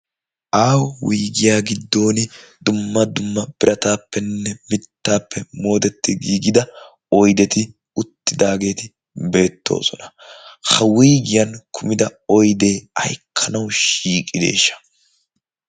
Aaho wuygiyaa giddon dumma dumma birataappenne mittaappe moodetti giigida oyddetti uttidaageeti beettoosona. ha wuygiyan kumida oyddee ay ekkanawu shiiqideeshsha?